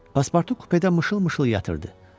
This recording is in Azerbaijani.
Paspartu kupedə mışıl-mışıl yatırdı.